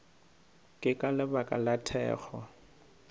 ke ka lebaka la thekgo